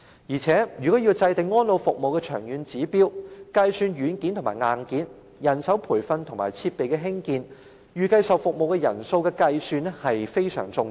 再者，如果要制訂安老服務的長遠指標，計算軟件和硬件、人手培訓和設備興建，以及預計接受服務的人數便相當重要。